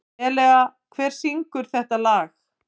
Elea, hver syngur þetta lag?